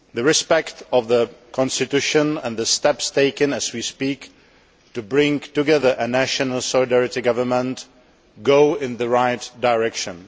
Respect for the Constitution and the steps being taken, as we speak, to bring together a national solidarity government, are moves in the right direction.